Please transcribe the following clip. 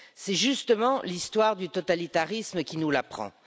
C'est justement l'histoire du totalitarisme qui nous l'apprend.